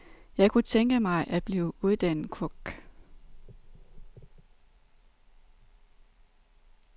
Jeg kunne tænke mig at blive uddannet kok.